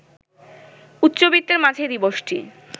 উচ্চবিত্তের মাঝেই দিবসটি